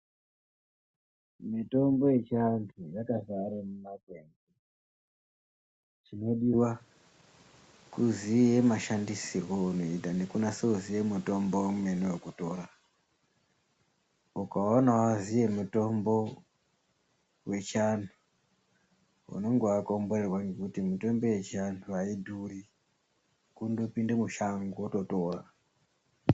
Mitombo yechiantu yakazare mumakwenzi chinodiva kuziya mashandisiryo eunoita nekunase kuziya mutombo vemene vokutora. Ukaona vaziye mitombo vechiantu unonga vakomborerwa ngekuti mitombo yechiantu haidzuri kundopinde mushango vototora.